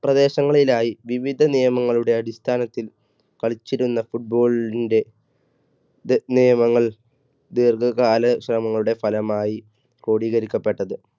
പ്രദേശങ്ങളിലായി വിവിധ നിയമങ്ങളുടെ അടിസ്ഥാനത്തിൽ കളിച്ചിരുന്ന football ന്റെ നിയമങ്ങൾ ദീർഘകാല ശ്രമങ്ങളുടെ ഫലമായി ക്രോഡീകരിക്കപ്പെട്ടത്.